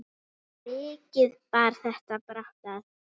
Mikið bar þetta brátt að.